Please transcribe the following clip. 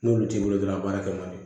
N'olu t'i bolo dɔrɔn a b'a kɛ man di